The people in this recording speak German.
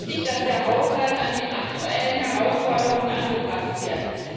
Es ist wichtig, dass der Haushalt an die aktuellen Herausforderungen angepasst wird.